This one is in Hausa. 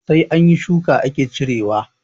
Sai anyi shuka ake cire ciyawa